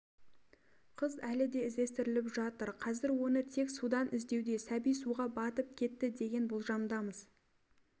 қыз әлі де іздестіріліп жатыр қазір оны тек судан іздеуде сәби суға батып кетті деген болжамдамыз